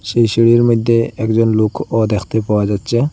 সেই সিঁড়ির মধ্যে একজন লোকও দেখতে পাওয়া যাচ্ছে।